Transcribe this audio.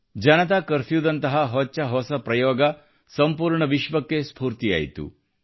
ಜನತಾ ಕರ್ಫ್ಯೂದಂತಹ ಹೊಚ್ಚಹೊಸ ಪ್ರಯೋಗ ಸಂಪೂರ್ಣ ವಿಶ್ವಕ್ಕೆ ಸ್ಪೂರ್ತಿಯಾಯಿತು